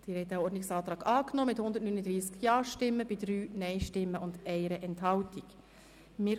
Sie haben den Ordnungsantrag mit 139 Ja-, 3 Nein-Stimmen und 1 Enthaltung angenommen.